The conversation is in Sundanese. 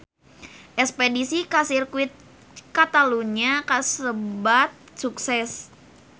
Espedisi ka Sirkuit Catalunya kasebat sukses